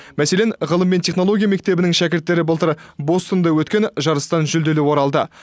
мәселен ғылым мен технология мектебінің шәкірттері былтыр бостонда өткен жарыстан жүлделі оралды